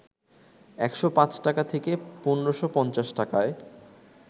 ১০৫ টাকা থেকে ১৫৫০ টাকায়